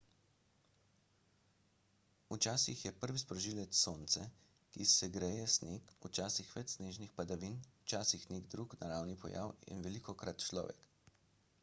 včasih je prvi sprožilec sonce ki segreje sneg včasih več snežnih padavin včasih nek drug naravni pojav in velikokrat človek